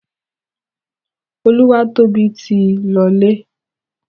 Olúwatóbi ti lọlé.